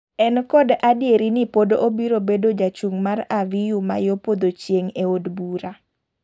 En kod adieri ni pod obiro bedo jachung' mar Aviyu ma yo podho chieng' e od bura.